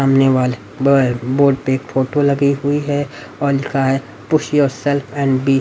सामने वाले ब बोर्ड पर एक फोटो लगी हुई है और लिखा है push yourself and be --